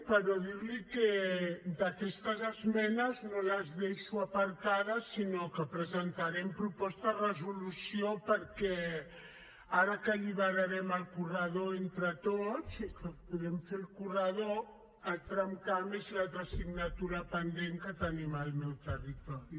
però dir li que aquestes esmenes no les deixo aparcades sinó que presentarem proposta de resolució perquè ara que alliberarem el corredor entre tots i que podrem fer el corredor el tramcamp és l’altra assignatura pendent que tenim al meu territori